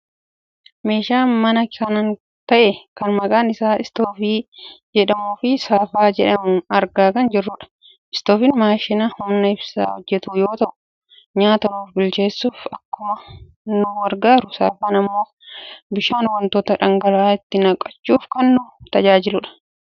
meeshaa manaa kan ta'e kan maqaan isaa istoovii jedhamuufi saafaa jedhamu argaa kan jirrudha. Istooviin maashina humna ibsaan hojjatu yoo ta'u nyaata nuuf bilcheessuuf akkuma nu gargaaru saafaan ammoo bishaan, wantoota dhangala'aa itti naqachuuf kan nu tajaajiludha.